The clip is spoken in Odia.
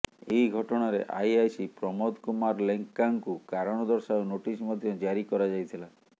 ଏହି ଘଟଣାରେ ଆଇଆଇସି ପ୍ରମୋଦ କୁମାର ଲେଙ୍କାଙ୍କୁ କାରଣ ଦର୍ଶାଅ ନୋଟିସ ମଧ୍ୟ ଜାରି କରାଯାଇଥିଲା